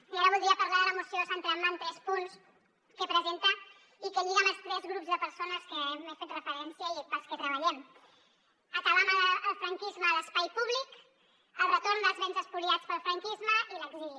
i ara voldria parlar de la moció centrant me en tres punts que presenta i que lliga amb els tres grups de persones a què he fet referència i pels que treballem acabar amb el franquisme a l’espai públic el retorn dels béns espoliats pel franquisme i l’exili